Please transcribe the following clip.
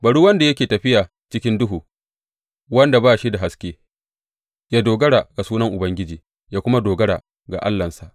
Bari wanda yake tafiya cikin duhu, wanda ba shi da haske, ya dogara a sunan Ubangiji ya kuma dogara ga Allahnsa.